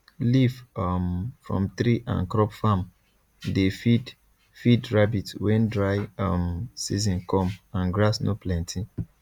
leaf um from tree and crop farm dey feed feed rabbit when dry um season come and grass no plenty